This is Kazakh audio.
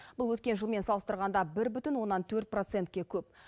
бұл өткен жылмен салыстырғанда бір бүтін оннан төрт процентке көп